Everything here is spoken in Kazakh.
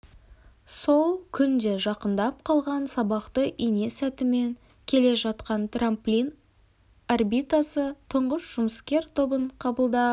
сол күн де жақындап қалған сабақты ине сәтімен келе жатқан трамплин орбитасы тұңғыш жұмыскер тобын қабылдап